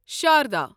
Sharda